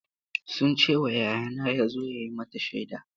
Sun ce wa yayana ya zo ya yi mata shaida.